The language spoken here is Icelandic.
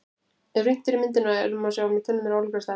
Ef rýnt er í myndina er má sjá að tunnurnar eru ólíkar að stærð.